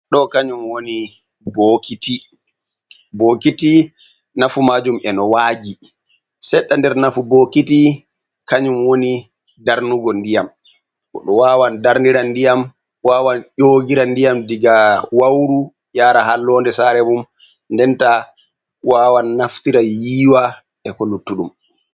Ɗo kanyum woni bokiti, bokiti nafu majum en wagi seɗɗa nder nafu bokiti kanyum woni darnugo ndiyam, Goɗo wawan darnira nɗiyam wawan ƴogira nɗiyam, Diga wauru ƴara hallonɗe sare mum, Nɗen ta wawan naftira yiiwa e ko luttuɗum.